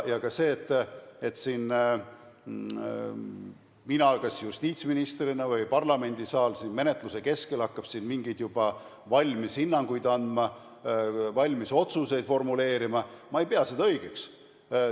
Ka seda, et kas mina justiitsministrina või parlamendisaal hakkab juba siin menetluse keskel mingeid juba valmis hinnanguid andma, valmis otsuseid formuleerima, ma ei pea õigeks.